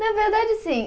Na verdade, sim.